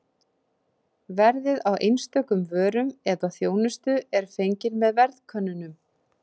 Verðið á einstökum vörum eða þjónustu er fengið með verðkönnunum.